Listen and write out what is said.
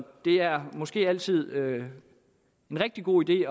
det er måske altid en rigtig god idé